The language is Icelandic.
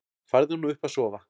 Farðu nú upp að sofa.